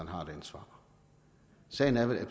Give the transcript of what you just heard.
har et ansvar sagen er vel